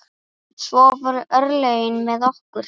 Svo voru örlögin með okkur.